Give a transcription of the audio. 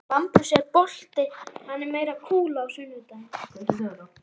Bambus, er bolti á sunnudaginn?